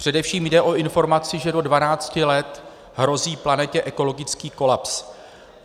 Především jde o informaci, že do 12 let hrozí planetě ekologický kolaps.